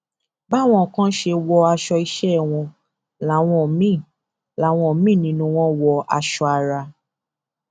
báwọn kan ṣe wọ aṣọ iṣẹ wọn láwọn míín láwọn míín nínú wọn wọ aṣọ àrà